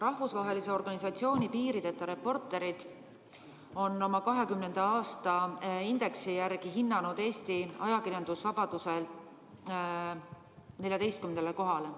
Rahvusvaheline organisatsioon Piirideta Reporterid on oma 2020. aasta indeksi järgi hinnanud Eesti ajakirjandusvabaduselt 14. kohale.